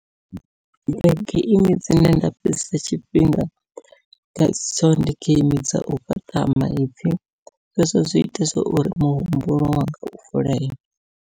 Geimi dzine nda fhedzesa tshifhinga ngatsho ndi geimi dzau fhaṱa maipfhi zwezwo zwi ita zwa uri muhumbulo wanga u vuleye.